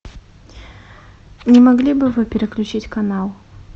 не могли бы вы переключить канал